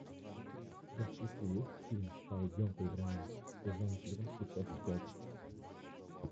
у тебя в списке есть фильм пойдем поиграем сезон четырнадцатый часть пять